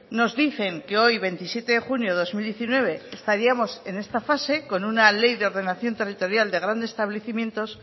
nos dicen que hoy veintisiete de junio de dos mil diecinueve estaríamos en esta fase con una ley de ordenación territorial de grandes establecimientos